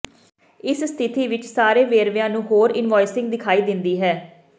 ਇਸ ਸਥਿਤੀ ਵਿੱਚ ਸਾਰੇ ਵੇਰਵਿਆਂ ਨੂੰ ਹੋਰ ਇਨਵੌਇਸਿੰਗ ਦਿਖਾਈ ਦਿੰਦੀ ਹੈ